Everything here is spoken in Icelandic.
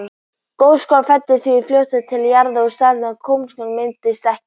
Gjóskan fellur því fljótt til jarðar og stöðugur gosmökkur myndast ekki.